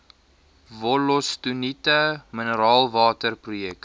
wollostonite mineraalwater projek